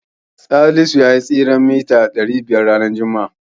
Salisu yayi tseren mita ɗari biyar ranar juma'a.